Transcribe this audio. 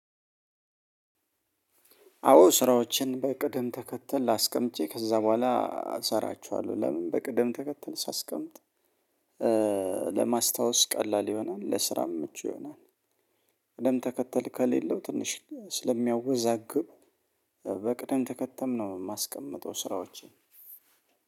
አዎ። ስራዎችን በቅድም ተከተል አስቀምጬ፤ ከዛ በኋላ እሰራችኋለሁ። ለምን? በቅደም ተከተል ሳስቀምጥ ለማስታወስ ቀላል ይሆናል፤ ለስራም ምቹ ይሆናል። ቅደም ተከተል ከሌለው ትንሽ ስለሚያወዛግብ በቅደም ተከተል ነው የማስቀምጠው ስራዎችን።